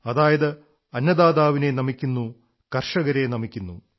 അതായത് അന്നദാതാവിനെ നമിക്കുന്നു കർഷകരെ നമിക്കുന്നു